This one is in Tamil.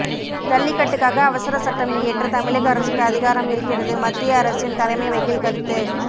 ஜல்லிக்கட்டுக்காக அவசர சட்டம் இயற்ற தமிழக அரசுக்கு அதிகாரம் இருக்கிறது மத்திய அரசின் தலைமை வக்கீல் கருத்து